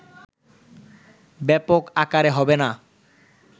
ব্যাপক আকারে হবেনা